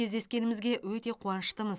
кездескенімізге өте қуаныштымыз